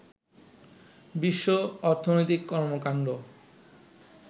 বিশ্ব অর্থনৈতিক কর্মকাণ্ড